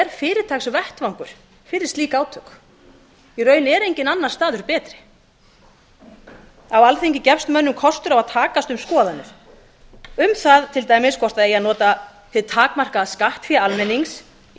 er fyrirtaksvettvangur fyrir slík átök í raun er enginn staður betri á alþingi gefst mönnum kostur á að takast á um skoðanir til dæmis um það hvort það eigi að nota hið takmarkaða skattfé almennings í